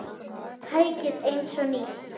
Tækið eins og nýtt.